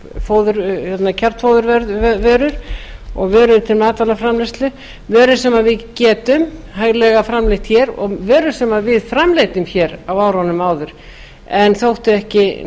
vörur og þar á meðal kjarnfóðurvörur og vörur til matvælaframleiðslu vörur sem við getum hæglega framleitt hér og vörur sem við framleiddum hér á árunum áður en þótti ekki